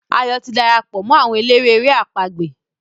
Ayo tí darapọ̀ mọ́ àwọn eléré èrè àpagbè.